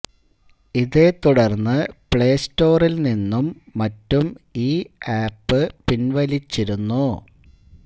ഇതേ തുടര്ന്ന് പ്ലേ സ്റ്റോറില് നിന്നും മറ്റും ഈ ആപ്പ് പിന്വലിച്ചിരുന്നു